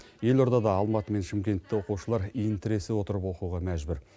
елордада алматы мен шымкентте оқушылар иін тіресе отырып оқуға мәжбүр